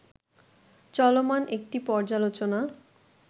চলমান একটি পর্যালোচনা